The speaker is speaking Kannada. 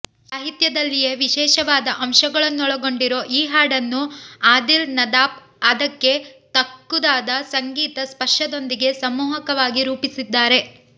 ಸಾಹಿತ್ಯದಲ್ಲಿಯೇ ವಿಶೇಷವಾದ ಅಂಶಗಳನ್ನೊಳಗೊಂಡಿರೋ ಈ ಹಾಡನ್ನು ಆದಿಲ್ ನದಾಫ್ ಅದಕ್ಕೆ ತಕ್ಕುದಾದ ಸಂಗೀತ ಸ್ಪರ್ಶದೊಂದಿಗೆ ಸಮ್ಮೋಹಕವಾಗಿ ರೂಪಿಸಿದ್ದಾರೆ